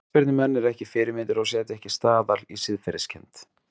Knattspyrnumenn eru ekki fyrirmyndir og setja ekki staðal í siðferðiskennd.